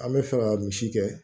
An bɛ fɛ ka misi kɛ